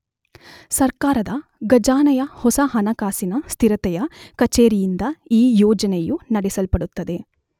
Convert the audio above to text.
ಸರ್ಕಾರದ ಖಜಾನೆಯ ಹೊಸ ಹಣಕಾಸಿನ ಸ್ಥಿರತೆಯ ಕಚೇರಿಯಿಂದ ಈ ಯೋಜನೆಯು ನಡೆಸಲ್ಪಡುತ್ತದೆ.